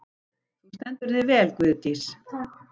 Þú stendur þig vel, Guðdís!